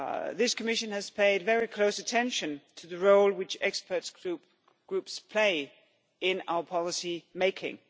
This Commission has paid very close attention to the role which expert groups play in our policy making.